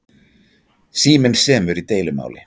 Síminn semur í deilumáli